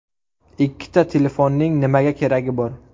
Ikkita telefonning nima keragi bor?